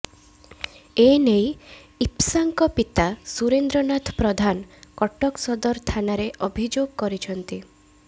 ଏନେଇ ଇପ୍ସାଙ୍କ ପିତା ସୁରେନ୍ଦ୍ର ନାଥ ପ୍ରଧାନ କଟକ ସଦର ଥାନାରେ ଅଭିଯୋଗ କରିଛନ୍ତି